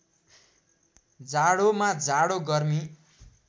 जाडोमा जाडो गर्मी